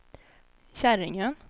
Käringön